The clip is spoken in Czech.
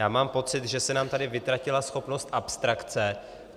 Já mám pocit, že se nám tady vytratila schopnost abstrakce.